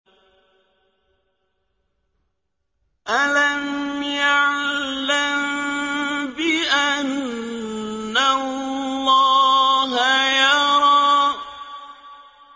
أَلَمْ يَعْلَم بِأَنَّ اللَّهَ يَرَىٰ